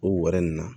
O wɛrɛ nin na